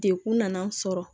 Dekun nana sɔrɔ